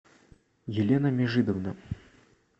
елена межидовна